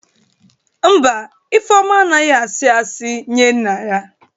Mba, Ifeoma anaghi Iying nye nna ya.